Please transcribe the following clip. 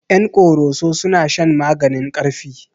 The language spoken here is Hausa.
Ƴan koroso suna shan maganin ƙarfi